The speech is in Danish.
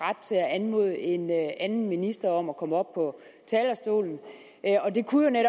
anmode en anden minister om at komme op på talerstolen og det kunne